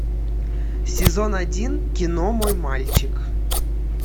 сезон один кино мой мальчик